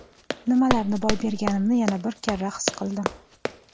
Nimalarni boy berganimni yana bir karra his qildim.